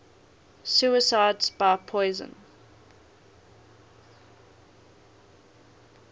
suicides by poison